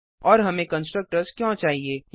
और हमें कंसट्रक्टर्स क्यों चाहिए